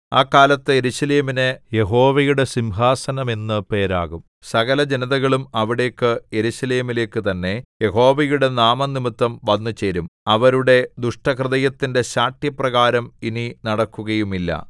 ആ കാലത്ത് യെരൂശലേമിന് യഹോവയുടെ സിംഹാസനം എന്ന് പേരാകും സകലജനതകളും അവിടേക്ക് യെരൂശലേമിലേക്കു തന്നെ യഹോവയുടെ നാമംനിമിത്തം വന്നുചേരും അവരുടെ ദുഷ്ടഹൃദയത്തിന്റെ ശാഠ്യപ്രകാരം ഇനി നടക്കുകയുമില്ല